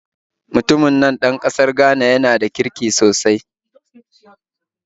Mutumin nan ɗan ƙasar Ghana yana da kirki sosai